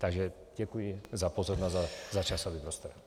Takže děkuji za pozornost a za časový prostor.